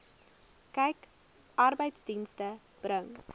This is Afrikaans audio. kyk arbeidsdienste bring